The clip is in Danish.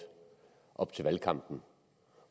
op til valgkampen